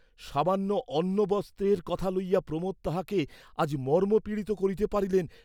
সামান্য অন্নবস্ত্রের কথা লইয়া প্রমোদ তাহাকে আজ মর্মপীড়িত করিতে পারিলেন!